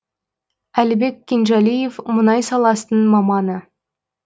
әлібек кенжалиев мұнай саласының маманы